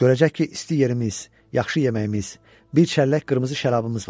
Görəcək ki, isti yerimiz, yaxşı yeməyimiz, bir çəllək qırmızı şərabımız var.